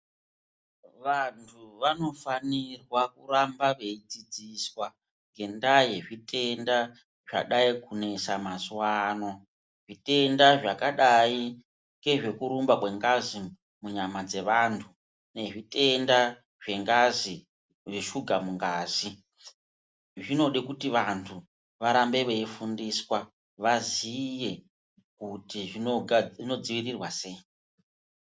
Vantu vanofanirwa kuramba veidzidziswa ngendaa yezvitenda zvadai kunesa mazuva ano. Zvitenda zvakadai ngezvekurumba kengazi munyama dzevantu. Nezvitenda zvengazi zveshuga mungazi zvinode kuti vantu varambe veifundiswa vaziye kuti zvinodzirirwa sei.